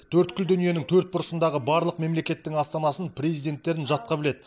төрткүл дүниенің бұрышындағы барлық мемлекеттің астанасын президенттерін жатқа біледі